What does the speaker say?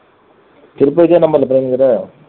திரும்பக்கியும் இதே number ல